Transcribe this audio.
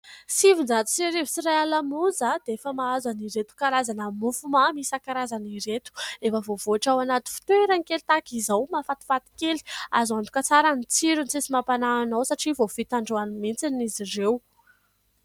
Sivinjato sy arivo sy iray alina monja dia efa mahazo an'ireto karazana mofo mamy isankarazany ireto. Efa voavoatra ao anaty fitoerany kely tahaka izao, mahafatifaty kely. Azo antoka tsara ny tsirony, tsy misy mampanahy anao satria vao vita androany mihitsy izy ireo.